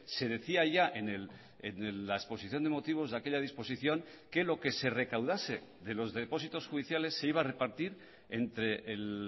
se decía ya en la exposición de motivos de aquella disposición que lo que se recaudase de los depósitos judiciales se iba a repartir entre el